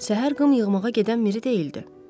Səhər qım yığmağa gedən Miri deyildi.